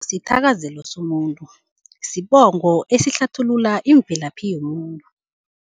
Sithakazelo somuntu, sibongo esihlathulula imvelaphi yomuntu.